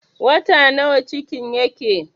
Wata nawa cikin yake?